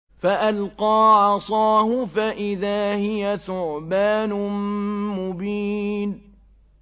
فَأَلْقَىٰ عَصَاهُ فَإِذَا هِيَ ثُعْبَانٌ مُّبِينٌ